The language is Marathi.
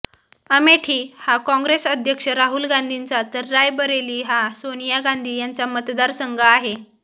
अमेठी हा काँग्रेस अध्यक्ष राहुल गांधींचा तर रायबरेली हा सोनिया गांधी यांचा मतदार संघ आहे